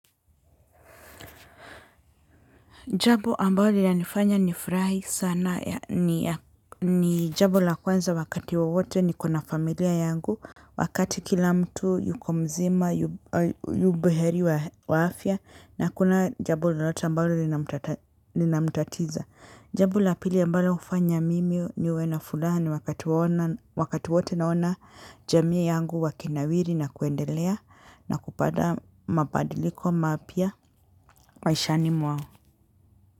Jambo ambalo linanifanya ni furahi sana ni jambo la kwanza wakati wowote niko na familia yangu. Wakati kila mtu yuko mzima, yu buheri wa afya na hakuna jambo lolote ambalo linamutatiza. Jambo la pili ambalo hufanya mimi niwe na furaha ni wakati wote naona jamii yangu wakinawiri na kuendelea na kupata mabadiliko mapya maishani mwao.